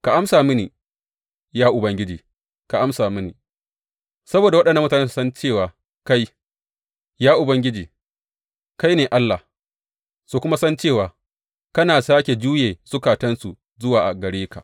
Ka amsa mini, ya Ubangiji, ka amsa mini, saboda waɗannan mutane su san cewa kai, ya Ubangiji, kai ne Allah, su kuma san cewa kana sāke juye zukatansu zuwa gare ka.